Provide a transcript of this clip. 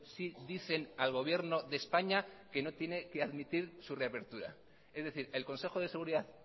sí dicen al gobierno de españa que no tiene que admitir su reapertura es decir el consejo de seguridad